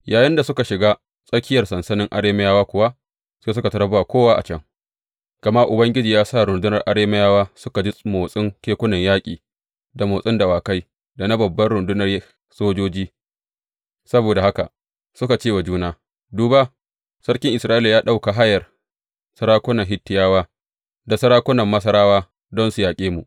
Yayinda suka shiga tsakiyar sansanin Arameyawa kuwa, sai suka tarar ba kowa a can, gama Ubangiji ya sa rundunar Arameyawa suka ji motsin kekunan yaƙi, da motsin dawakai, da na babban rundunar sojoji, saboda haka suka ce wa juna; Duba, sarkin Isra’ila ya ɗauka hayar sarakuna Hittiyawa da sarakunan Masarawa don su yaƙe mu!